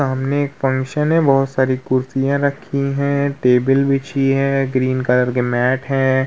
सामने एक फंक्शन है। बोहोत सारी कुर्सिया रखी हैं। टेबल बिछी है। ग्रीन कलर के मैट हैं।